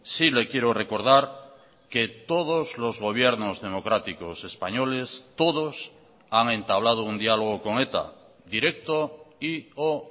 sí le quiero recordar que todos los gobiernos democráticos españoles todos han entablado un diálogo con eta directo y o